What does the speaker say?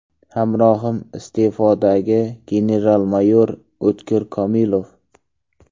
Hamrohim iste’fodagi general-mayor O‘tkir Komilov.